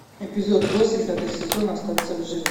эпизод восемь пятый сезон остаться в живых